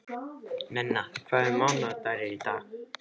Nenna, hvaða mánaðardagur er í dag?